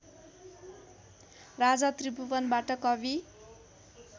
राजा त्रिभुवनबाट कवि